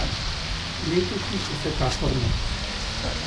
Letošnjih vsekakor ne.